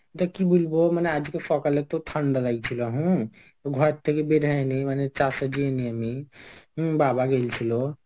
এটা কি বলবো মানে আজকে সকালে তো ঠান্ডা লাগছিল হম ঘর থেকে বের হয়নি মানে চাষে যায়নি আমি আমি হম বাবা গিয়েছিল.